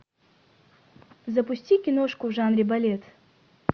запусти киношку в жанре балет